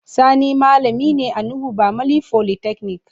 Sati malami ne a Nuhu bamalli folytechnic.